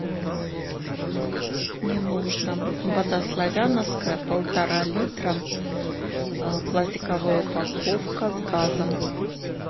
мне нужно вода славяновская полтора литра пластиковая упаковка с газом